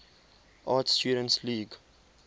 art students league